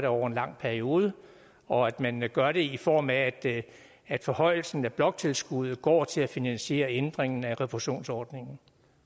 over en lang periode og at man gør det i form af at forhøjelsen af bloktilskuddet går til at finansiere ændringen af refusionsordningen